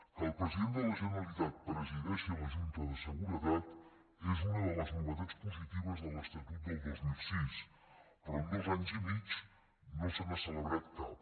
que el president de la generalitat presideixi la junta de seguretat és una de les novetats positives de l’estatut del dos mil sis però en dos anys i mig no se n’ha celebrat cap